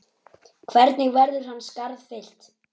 Hvernig verður hans skarð fyllt?